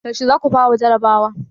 Yaushe za ku fara jarabawa?